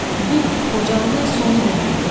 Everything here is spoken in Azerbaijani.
Bu, Xocalının sonu deməkdir.